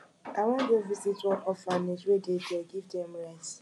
i wan go visit one orphanage wey dey there give dem rice